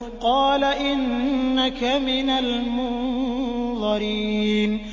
قَالَ إِنَّكَ مِنَ الْمُنظَرِينَ